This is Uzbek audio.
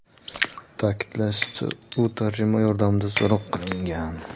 Ta’kidlanishicha, u tarjimon yordamida so‘roq qilingan.